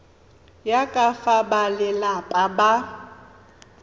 ya ka fa balelapa ba